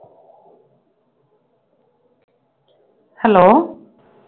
hello